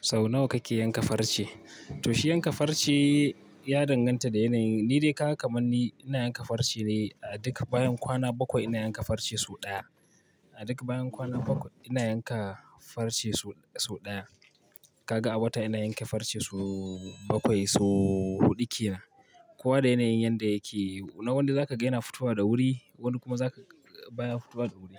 Sau nawa kake yanka farce? To shi yanka farce ya danganta da yanayin. Ni dai haka kamanni ina yanka farce ne a duka bayan kwana bakwai ina yanka farce sau ɗaya. A duk bayan kwana bakwai ina yanka farce sau ɗaya. Kaga a wata ina yanke farce sau bakwai, sau huɗu ke nan. Kowa da yanayin yanda yake. Na wanda zaka gani yana fitowa da wuri, wani kuma zaka baya fitowa da wuri.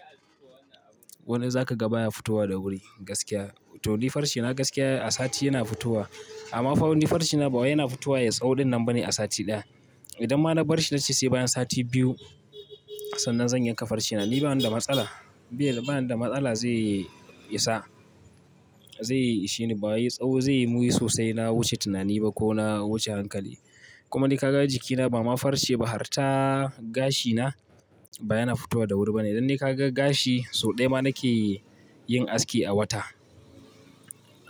Wani zaka ga baya fitowa da wuri gaskiya. To ni farcena gaskiya a sati yana fitowa. Amma fa wani farcena bakwai yana fitowa ya tsawo dinnan bane a sati ɗaya. Idan ma na bar shi na ce sai bayan sati biyu, sannan zan yanka farcena ni bani da matsala. Ba, bani da matsala zai isa. Zai ishe ni baya yi tsawo zai muyi sosai na wuce tunani ba ko na wuce hankali. Kuma ni kaga jikina ba ma farce ba har ta gashina baya na fitowa da wuri bane. Idan ne ka ga gashi sau ɗaya ma nake yin aski a wata,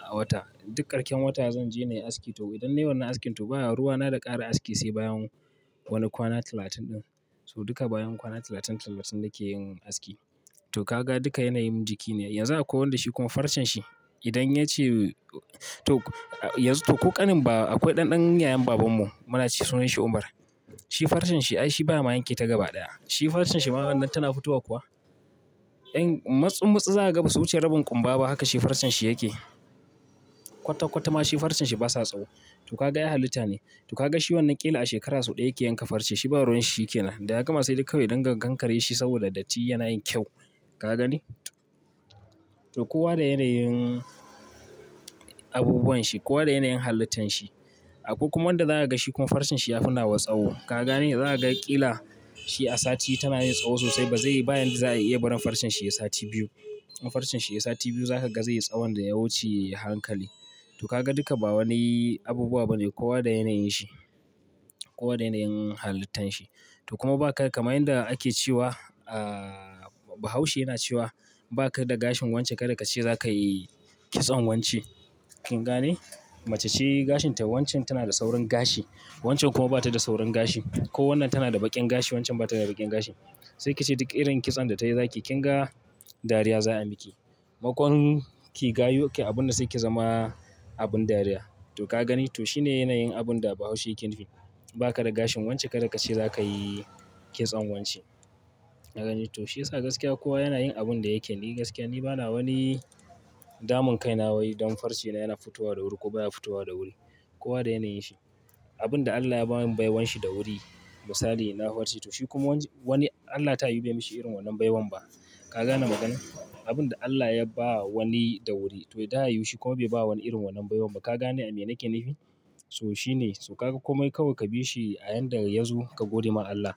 a wata. Duk karshen wata zan je nayi aski to idan ne wannan askin to baya ruwa na da ƙara aski sai bayan wani kwana talatin ɗin. So duka bayan kwana talatin, talatin nake yin aski. To kaga duka yanayin jiki ne. Yanzu akwai wanda shi kuma farcen shi idan ya ce to, to ko ƙanin bawa akwai ɗanɗan yayan baban mu muna ce sunan shi Umar. Shi farcen shi ai shi ba ma yake ta gaba ɗaya. Shi farcen shi maganan tana fitowa kuwa? Yan matsummasu za ka ga basu wuce rabin ƙumba ba haka shi farcen shi yake. Kwata-kwata ma shi farcen shi basa tsawo. To kaga ya halita ne. To kaga shi wannan ƙila a shekara sau ɗaya yake yanka farce shi ba ruwan shi yake nan. Da ya gama sai duk kawai idan ka gankare shi saboda datti yana yin kyau. Ka gani? To kowa da yanayin abubuwan shi, kowa da yanayin halittan shi. Akwai kuma wanda za ka ga shi kuma farcen shi ya fi nawa tsawo. Ka gane? Za ka ga ƙila shi a sati tana yi tsawo sosai ba zai yi baya za a iya barin farcen shi yi sati biyu. In farcen shi ya yi sati biyu za ka ga zai yi tsawon da ya wuce hankali. To kaga duka ba wani abubuwa bane kowa da yanayin shi. Kowa da yanayin halittan shi. To kuma ba ka kamar yanda ake cewa, ahhh Bahaushe yana cewa ba ka da gashin wance kada ka ce za ka yi kitson wanci. Kin gane? Mace ce gashin ta wancan tana da saurin gashi, wancan kuma bata da saurin gashi. Ko wannan tana da baƙin gashi wancan ba tana da baƙin gashi. Sai ki ce duk irin kitson da tayi zaki yi kin ga dariya za a miki. Makon ki gayu abun da sai ki zama abin dariya. To ka gani? To shi ne yanayin abun da Bahaushe yake nufi. Ba ka da gashin wance kada ka ce za ka yi kitson wanci. Ka gani? To shi yasa gaskiya kowa yana yin abun da yake. Ni gaskiya ni bana wani damun kai na wa yi don farcena yana fitowa da wuri ko baya fitowa da wuri. Kowa da yanayin shi. Abun da Allah ya ba mu baiwan shi da wuri misali na farci to shi kuma wani Allah ta yi bai mishi irin wannan baiwan ba. Ka gane maganar? Abun da Allah ya ba wani da wuri to ita ya yi shi kuma bai ba wani irin wannan baiwan ba. Ka gane abin da nake nufi? So shi ne so ka ga komai kawai ka bi shi a yayin da ya zo ka gode ma Allah.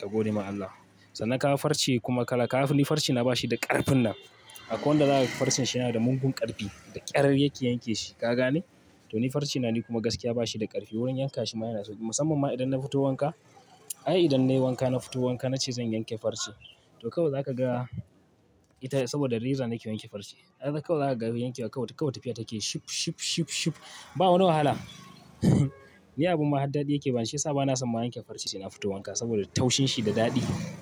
Ka gode ma Allah. Sannan ka farce kuma ka laka. Ni farcena bashi da ƙarfin nan. Akwai wanda za ka ga farcen shi yana da mugun ƙarfi da ƙyar yake yanke shi. Ka gane? To ni farcena ni kuma gaskiya bashi da ƙarfi wurin yanka shi ma yana sauƙi. Musamman ma idan na fito wanka, ai idan ne wanka na fito wanka na ce zan yanke farce. To kawai za ka ga ita saboda reza nake wanke farce. Haka kawai za ka ga wanke wa kawai tafiya take shup shup shup shup. Ba wani wahala. Ni abun mahaddar yake bani shi yasa bana son ma yanke farce yana fito wanka saboda taushin shi da daɗi.